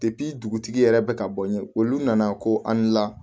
dugutigi yɛrɛ bɛ ka bɔ n ye olu nana ko an la